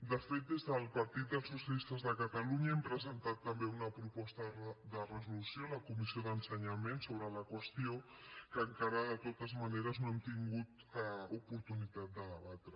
de fet des del partit dels socialistes de catalunya hem presentat també una proposta de resolució a la comissió d’ensenyament sobre la qüestió que encara de totes maneres no hem tingut oportunitat de debatre